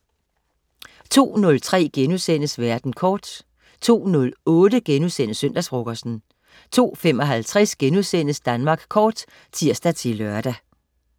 02.03 Verden kort* 02.08 Søndagsfrokosten* 02.55 Danmark Kort* (tirs-lør)